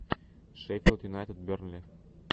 шеффилд юнайтед бернли